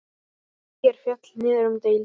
ÍR féll niður um deild.